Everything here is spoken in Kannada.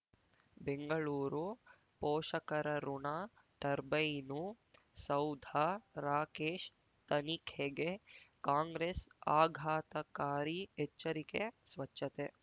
ಬೆಂಗಳೂರು ಪೋಷಕರಋಣ ಟರ್ಬೈನು ಸೌಧ ರಾಕೇಶ್ ತನಿಖೆಗೆ ಕಾಂಗ್ರೆಸ್ ಆಘಾತಕಾರಿ ಎಚ್ಚರಿಕೆ ಸ್ವಚ್ಛತೆ